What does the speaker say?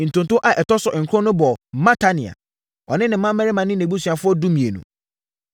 Ntonto a ɛtɔ so nkron no bɔɔ Matania, ɔne ne mmammarima ne nʼabusuafoɔ (12)